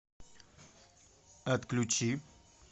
отключи